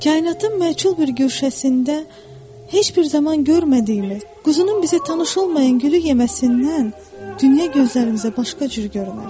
Kainatın məchul bir güşəsində heç bir zaman görmədiyimiz quzunun bizə tanış olmayan gülü yeməsindən dünya gözlərimizə başqa cür görünər.